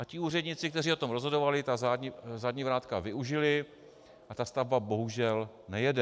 A ti úředníci, kteří o tom rozhodovali, ta zadní vrátka využili a ta stavba bohužel nejede.